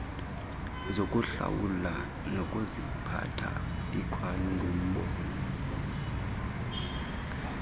zokuhlawula nokuziphatha ikwangumbono